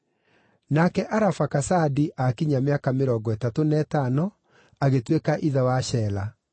Nake Arafakasadi aakinyia mĩaka mĩrongo ĩtatũ na ĩtano, agĩtuĩka ithe wa Shela.